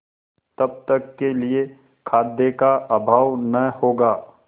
तब तक के लिए खाद्य का अभाव न होगा